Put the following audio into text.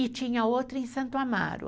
E tinha outra em Santo Amaro.